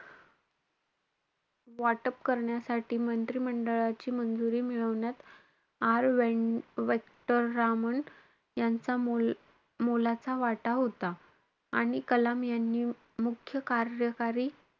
वाटप करण्यासाठी मंत्री मंडळाची मंजुरी मिळवण्यात, आर व्हे~ व्यंकटरामन यांचा मोल~ मोलाचा वाटा होता. आणि कलाम यांनी मुख्य कार्यकारी,